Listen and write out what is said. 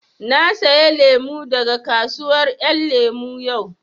Na saya lemu daga kasuwar ƴan lemu yau